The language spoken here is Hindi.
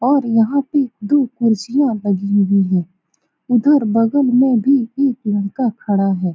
और यहाँ पर दो कुर्सियाँ लगी हुई है उधर बगल में भी एक लड़का खड़ा है ।